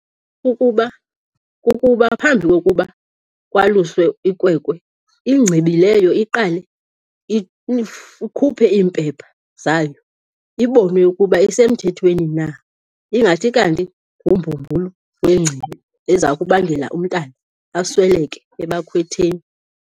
Kukuba phambi kokuba kwaluswe ikwekwe ingcibi leyo iqale ikhuphe iimpepha zayo ibonwe ukuba isemthethweni na, ingathi kanti ngumbumbulu wengcibi eza kubangela umntana asweleke abakhwetheni.